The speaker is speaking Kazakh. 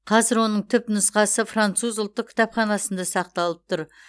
қазір оның түпнұқсасы француз ұлттық кітапханасында сақталып тұр